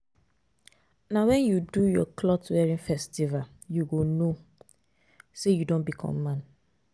Na wen you do your clot wearing festival you go know say you don become man.